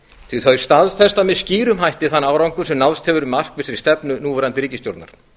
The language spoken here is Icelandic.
því að þau staðfesta með skýrum hætti þann árangur sem náðst hefur með markvissri stefnu núverandi ríkisstjórnar